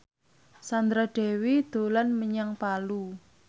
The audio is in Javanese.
Sandra Dewi dolan menyang Palu